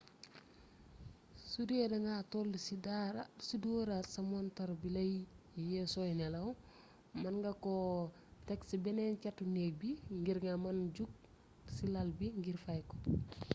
sudee da nga toll ci dooraat sa montar bi lay yee sooy nelaw mën nga ko teg ci beneen càttu néeg bi ngir nga mën jog ci làl bi ngir fay ko